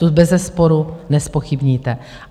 To bezesporu nezpochybníte.